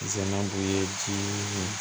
Zamandu ye ji ye